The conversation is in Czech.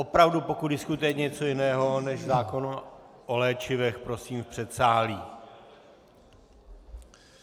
Opravdu, pokud diskutujete něco jiného než zákon o léčivech, prosím v předsálí.